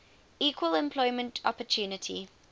equal employment opportunity